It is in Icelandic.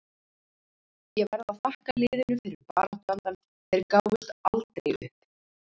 Ég verð að þakka liðinu fyrir baráttuandann, þeir gáfust aldrei upp.